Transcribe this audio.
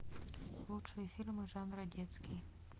лучшие фильмы жанра детский